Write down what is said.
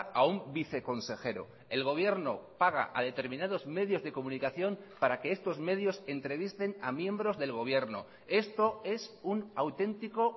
a un viceconsejero el gobierno paga a determinados medios de comunicación para que estos medios entrevisten a miembros del gobierno esto es un autentico